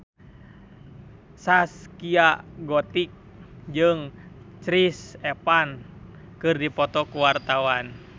Zaskia Gotik jeung Chris Evans keur dipoto ku wartawan